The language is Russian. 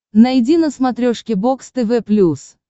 найди на смотрешке бокс тв плюс